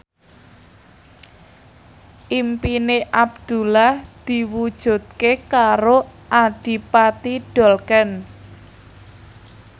impine Abdullah diwujudke karo Adipati Dolken